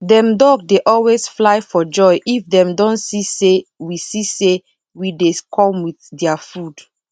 dem duck dey always fly for joy if dem don see say we see say we dey come with dia food